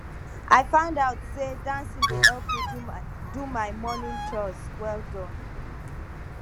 i find out say dancing dey help me do do my morning chores well Accepted